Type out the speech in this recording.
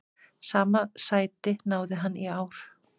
Sama sæti náði hann í ár.